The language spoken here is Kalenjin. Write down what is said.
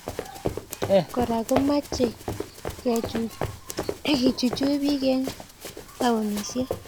Kora komachei kechuchuch bik eng taonisiek